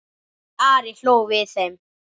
Ari hló við þeim.